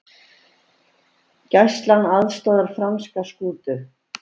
Gæslan aðstoðar franska skútu